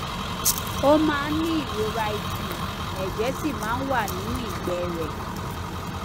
ó máa ń ní ìrora ikùn ẹjẹ sì máa ń wà nínú ìgbẹ rẹ